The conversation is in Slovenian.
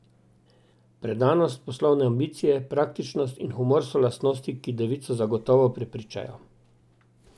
Predanost, poslovne ambicije, praktičnost in humor so lastnosti, ki devico zagotovo prepričajo.